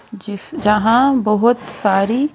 जिस जहां बहुत सारी--